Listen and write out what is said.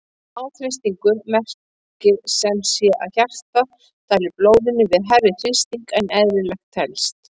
Háþrýstingur merkir sem sé að hjartað dælir blóðinu við hærri þrýsting en eðlilegt telst.